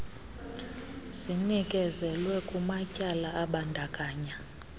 zinikezelwe kumatyala abandakanya